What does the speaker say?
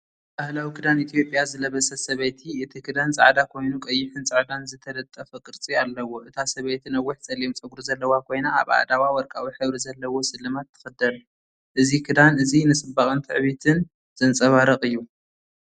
ባህላዊ ክዳን ኢትዮጵያ ዝለበሰት ሰበይቲ፣ እቲ ክዳን ጻዕዳ ኮይኑ ቀይሕን ጻዕዳን ዝተጠልፈ ቅርጺ ኣለዎ። እታ ሰበይቲ ነዊሕ ጸሊም ጸጉሪ ዘለዋ ኮይና ኣብ ኣእዳዋ ወርቃዊ ሕብሪ ዘለዎ ስልማት ትኽደን። እዚ ክዳን እዚ ንጽባቐን ትዕቢትን ዘንጸባርቕ እዩ።